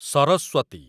Saraswati